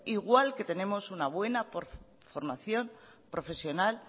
igual que tenemos una buena formación profesional